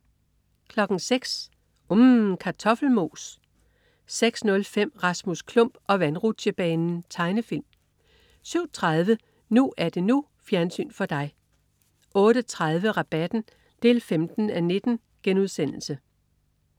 06.00 UMM. Kartoffelmos 06.05 Rasmus Klump og vandrutsjebanen. Tegnefilm 07.30 NU er det NU. Fjernsyn for dig 08.30 Rabatten 15:19*